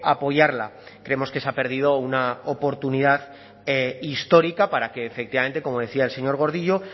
apoyarla creemos que se ha perdido una oportunidad histórica para que efectivamente como decía el señor gordillo